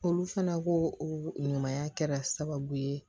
Olu fana ko o ɲumanya kɛra sababu ye